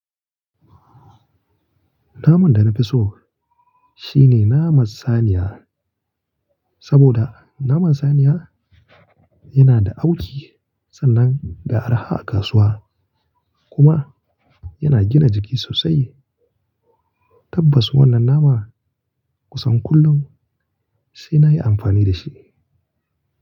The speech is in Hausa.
Naman da na fi so shi ne naman saniya saboda naman saniya yana da auki sannan da arha a kasuwa kuma yana gina jiki sosai. Tabbas wannan naman kusan kullum sai na yi amfani da shi.